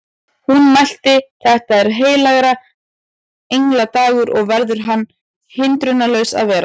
Hún mælti: Þetta er heilagra engla dagur og verður hann hindrunarlaus að vera